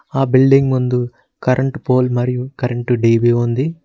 ఆ బిల్డింగ్ ముందు current pole మరియు కరెంటు డి_బి ఉంది.